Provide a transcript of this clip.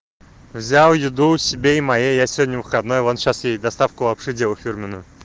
взял еду себе и моей я сегодня выходной вот сейчас ей доставку вообще делал фирменную